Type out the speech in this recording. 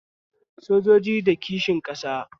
Sojoji na da kishi ƙasa